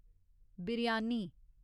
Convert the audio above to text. biryani